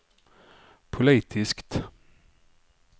politiskt